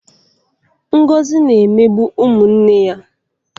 Ngozi na-emegbu ụmụ nne ya.